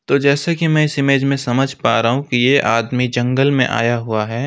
तो जैसे कि मैं इस इमेज में समझ पा रहा हूं कि ये आदमी जंगल में आया हुआ है।